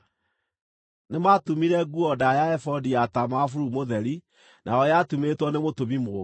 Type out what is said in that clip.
Nĩmatumire nguo ndaaya ya ebodi ya taama wa bururu mũtheri, nayo yatumĩtwo nĩ mũtumi mũũgĩ.